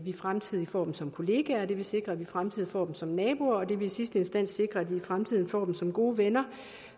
i fremtiden får dem som kollegaer og det vil sikre at vi i fremtiden får dem som naboer og det vil i sidste instans sikre at vi i fremtiden får dem som gode venner